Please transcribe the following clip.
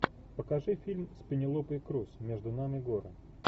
покажи фильм с пенелопой крус между нами горы